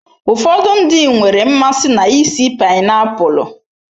Ụfọdụ ndị nwere mmasị na ísì painiapulu.